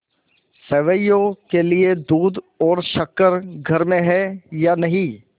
सेवैयों के लिए दूध और शक्कर घर में है या नहीं